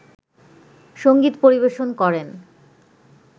সংগীত পরিবেশন করেন